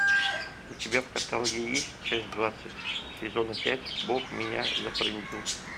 у тебя в каталоге есть часть двадцать сезона пять бог меня зафрендил